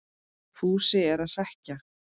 Fúsi er að hrekkja